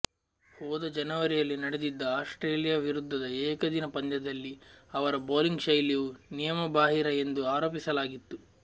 ಹೋದ ಜನವರಿಯಲ್ಲಿ ನಡೆದಿದ್ದ ಆಸ್ಟ್ರೇಲಿಯಾ ವಿರುದ್ಧಧ ಏಕದಿನ ಪಂದ್ಯದಲ್ಲಿ ಅವರ ಬೌಲಿಂಗ್ ಶೈಲಿಯು ನಿಯಮಬಾಹಿರ ಎಂದು ಆರೋಪಿಸಲಾಗಿತ್ತು